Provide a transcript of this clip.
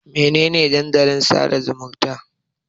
Mene ne Dandalin sada zumunta?